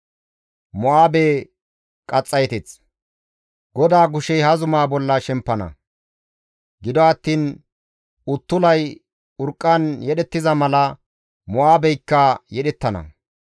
GODAA kushey ha zumaa bolla shemppana. Gido attiin uttulay urqqan yedhettiza mala Mo7aabeykka yedhettana.